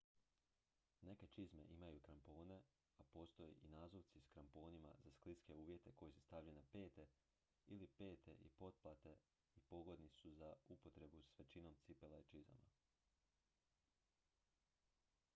neke čizme imaju krampone a postoje i nazuvci s kramponima za skliske uvjete koji se stavljaju na pete ili pete i poplate i pogodni su za upotrebu s većinom cipela i čizama